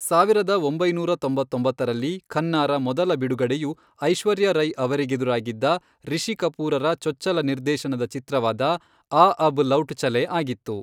ಸಾವಿರದ ಒಂಬೈನೂರ ತೊಂಬತ್ತೊಂಬತ್ತರಲ್ಲಿ ಖನ್ನಾರ ಮೊದಲ ಬಿಡುಗಡೆಯು ಐಶ್ವರ್ಯಾ ರೈ ಅವರಿಗೆದುರಾಗಿದ್ದ, ರಿಷಿ ಕಪೂರರ ಚೊಚ್ಚಲ ನಿರ್ದೇಶನದ ಚಿತ್ರವಾದ ಆ ಅಬ್ ಲೌಟ್ ಚಲೇನ್ ಆಗಿತ್ತು.